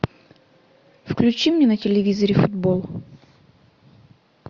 включи мне на телевизоре футбол